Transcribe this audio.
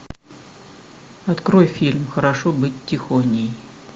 открой фильм хорошо быть тихоней